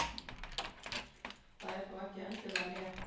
Það er þó ekki endilega rétt.